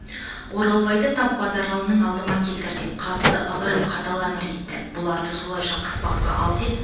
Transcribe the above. оралбайды тап базаралыны алдыма келтір деп қатты ығырып қатал әмір етті бұларды солайша қыспаққа ал деп